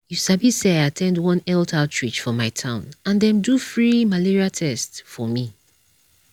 you sabi say i at ten d one health outreach for my town and dem do free malaria test for me.